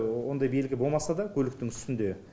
ондай белгі болмаса да көліктің үстінде